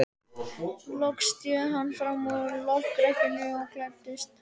Loks sté hann fram úr lokrekkjunni og klæddist.